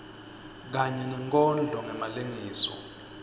kanye nenkondlo ngemalengiso